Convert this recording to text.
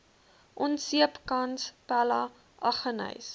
onseepkans pella aggeneys